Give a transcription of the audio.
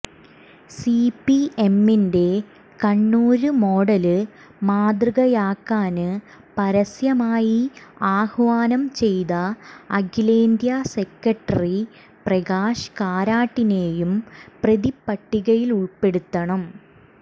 സിപിഎമ്മിന്റെ കണ്ണൂര് മോഡല് മാതൃകയാക്കാന് പരസ്യമായി ആഹ്വാനം ചെയ്ത അഖിലേന്ത്യാ സെക്രട്ടറി പ്രകാശ് കാരാട്ടിനെയും പ്രതിപ്പട്ടികയില് ഉള്പ്പെടുത്തണം